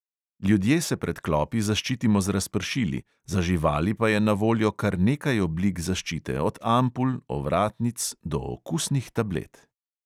Ljudje se pred klopi zaščitimo z razpršili, za živali pa je na voljo kar nekaj oblik zaščite, od ampul, ovratnic, do okusnih tablet.